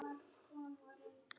Svo var.